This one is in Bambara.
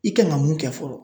I kan ka mun kɛ fɔlɔ